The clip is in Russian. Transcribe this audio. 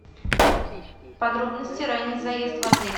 подробности ранний заезд в отель